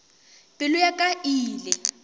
pelo ya ka e ile